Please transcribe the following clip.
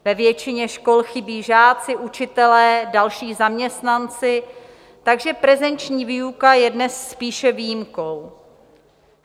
Ve většině škol chybí žáci, učitelé, další zaměstnanci, takže prezenční výuka je dnes spíše výjimkou.